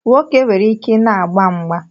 Nwoke nwere ike na-agba mgba